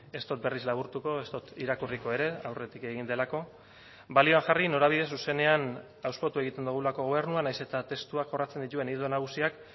ez dut berriz laburtuko ez dut irakurriko ere aurretik egin delako balioan jarri norabide zuzenean hauspotu egiten dugulako gobernua nahiz eta testuak jorratzen dituen ildo nagusiak